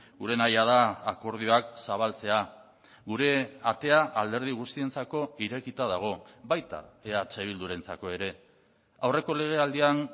gure nahia da akordioak zabaltzea gure atea alderdi guztientzako irekita dago baita eh bildurentzako ere aurreko legealdian